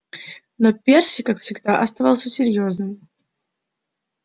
но перси как всегда оставался серьёзным